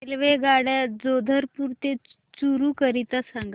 रेल्वेगाड्या जोधपुर ते चूरू करीता सांगा